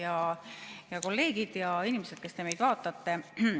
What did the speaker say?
Head kolleegid ja inimesed, kes te meid vaatate!